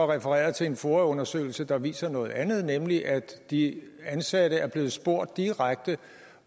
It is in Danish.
refereret til en foa undersøgelse der viser noget andet nemlig at de ansatte er blevet spurgt direkte